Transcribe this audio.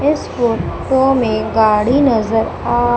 इस फोटो में गाड़ी नजर आ--